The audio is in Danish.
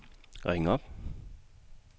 ring op